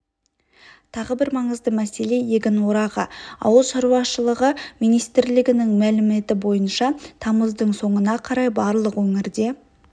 тағы бір маңызды мәселе егін орағы ауыл шаруашылы министрлігінің мәліметі бойынша тамыздың соңына қарай барлық өңірде